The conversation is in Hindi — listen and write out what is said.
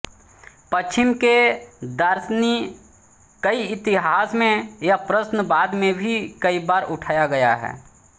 पश्चिम के दार्शनिकइतिहास में यह प्रश्न बाद में भी कई बार उठाया गया है